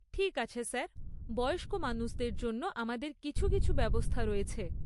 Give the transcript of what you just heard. ঠিক আছে স্যার, বয়স্ক মানুষদের জন্য আমাদের কিছু কিছু ব্যবস্থা রয়েছে।